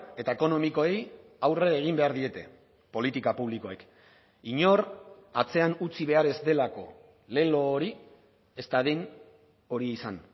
eta ekonomikoei aurre egin behar diete politika publikoek inor atzean utzi behar ez delako lelo hori ez dadin hori izan